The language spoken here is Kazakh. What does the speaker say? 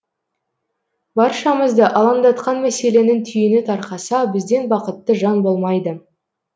баршамызды алаңдатқан мәселенің түйіні тарқаса бізден бақытты жан болмайды